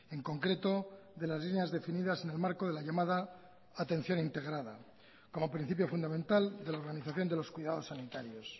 en concreto de las líneas definidas en el marco de la llamada atención integrada como principio fundamental de la organización de los cuidados sanitarios